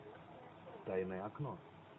тайное окно